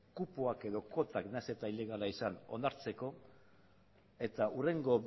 kupoak edo kuotak nahiz eta ilegalak izan onartzeko eta hurrengo